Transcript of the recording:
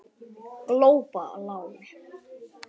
Glópa lán